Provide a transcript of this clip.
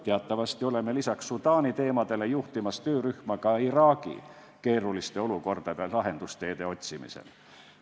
Teatavasti oleme lisaks Sudaani teemadele juhtimas töörühma ka Iraagi keerulistele olukordadele lahendusteede otsimisel.